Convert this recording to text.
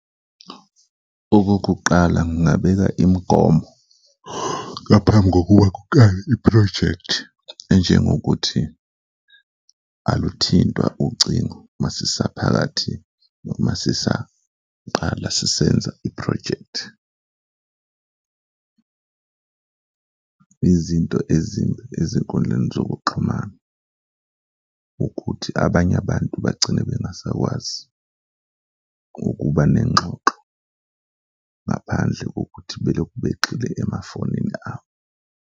Okokuqala ngingabeka imigomo ngaphambi kokuba kuqale iphrojekthi, enjengokuthi aluthintwa ucingo masisaphakathi noma sisaqala sisenza iphrojekthi. Izinto ezimbi ezinkundleni zokuxhumana ukuthi abanye abantu bagcine bengasakwazi ukuba nengxoxo ngaphandle kokuthi beloku begxile emafonini abo.